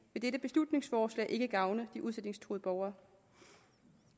vil dette beslutningsforslag ikke gavne de udsætningstruede borgere